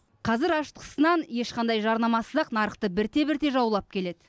қазір ашытқысыз нан ешқандай жарнамасыз ақ нарықты бірте бірте жаулап келеді